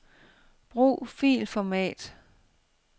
Brug filformat.